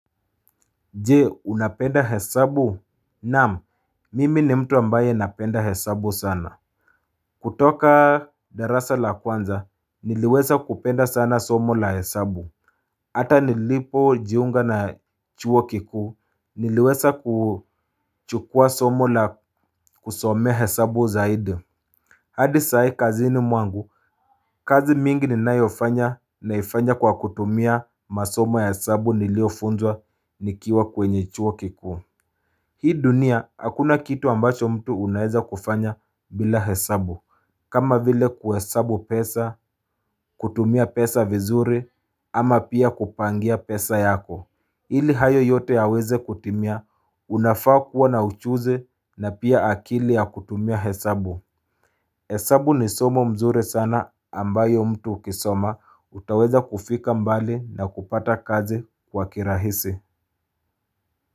Je, unapenda hesabu? Naam, mimi ni mtu ambaye napenda hesabu sana. Kutoka darasa la kwanza, niliweza kupenda sana somo la hesabu. Hata nilipojiunga na chuo kikuu, niliweza kuchukua somo la kusomea hesabu zaidi. Hadi saa hii, kazini mwangu. Kazi mingi ninayoifanya naifanya kwa kutumia masomo ya hesabu niliyofunzwa nikiwa kwenye chuo kikuu. Hii dunia, hakuna kitu ambacho mtu unaweza kufanya bila hesabu. Kama vile kuhesabu pesa, kutumia pesa vizuri, ama pia kupangia pesa yako. Ili hayo yote yaweze kutimia, unafaa kuwa na ujuzi na pia akili ya kutumia hesabu. Hesabu ni somo mzuri sana ambayo mtu ukisoma, utaweza kufika mbali na kupata kazi kwa kirahisi.